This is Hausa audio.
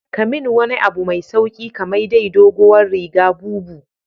Kamin wani abu mai sauki kamai dai dogowar riga bubu.